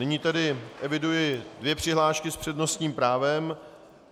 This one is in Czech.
Nyní tedy eviduji dvě přihlášky s přednostním právem.